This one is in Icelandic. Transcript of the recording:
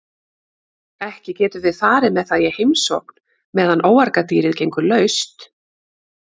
Ekki getum við farið með það í heimsókn meðan óargadýrið gengur laust.